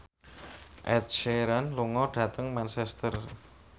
Ed Sheeran lunga dhateng Manchester